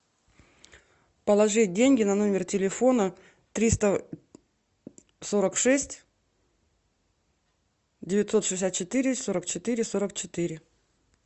положи деньги на номер телефона триста сорок шесть девятьсот шестьдесят четыре сорок четыре сорок четыре